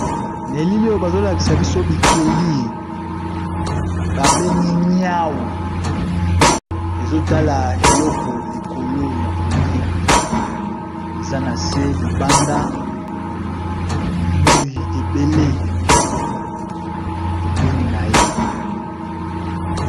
Na elili oyo bazolakisa biso bikeli babengi nyau ezotala eloko likolo ya kolya eza nase libanda moyi ebele pembeni naye.